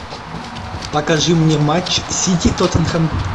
покажи мне матч сити тоттенхэм